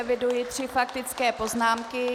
Eviduji tři faktické poznámky.